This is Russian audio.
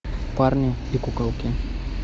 парни и куколки